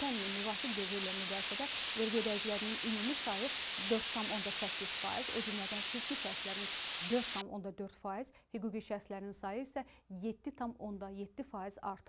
Ötən ilin müvafiq dövrü ilə müqayisədə vergi ödəyicilərinin ümumi sayı 4,8 faiz, o cümlədən fiziki şəxslərin 4,4 faiz, hüquqi şəxslərin sayı isə 7,7 faiz artıb.